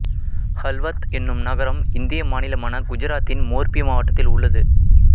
ஹள்வத் என்னும் நகரம் இந்திய மாநிலமான குஜராத்தின் மோர்பி மாவட்டத்தில் உள்ளது